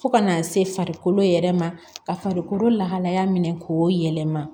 Fo ka n'a se farikolo yɛrɛ ma ka farikolo lahalaya minɛ k'o yɛlɛma